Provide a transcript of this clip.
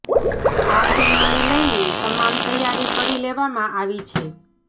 આ ફિલ્મને લઇને તમામ તૈયારી કરી લેવામાં આવી છે